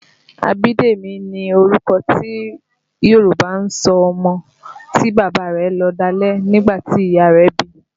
Abidemi ni orúkọ tí Yòrùbá ń sọ ọmọ tí bàbá rẹ̀ lọ̀dálẹ̀ nígbà tí ìyá rẹ̀ bí i